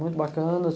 Muito bacana.